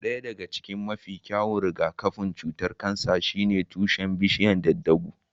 Ɗaya daga cikin mafi kyawun rigakafin cutar kansa shine tushen bishiyar daddaaguu.